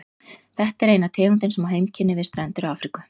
Þetta er eina tegundin sem á heimkynni við strendur Afríku.